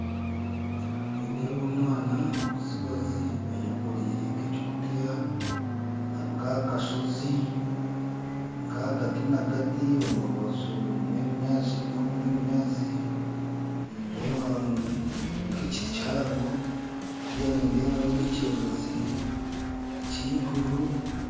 Nindeeba omwaana w'omutsigazi ayekoraire nka ekigutiya arinka aha kashoozi kagati nagati omurubaju n'ebinyaatsi nindeeba nka ekiti kihango kuriya nindeebayo nk'ekyerereezi ky'eiguru